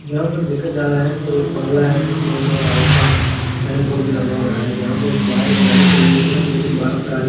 यहां पर देखा जा रहा है कि एक मंगला है जिसमें इन और आउट का साइन बोर्ड भी लगा हुआ है जहां पे बाहर गाड़ी खड़ी हुई है लेकिन बहार गाड़ी --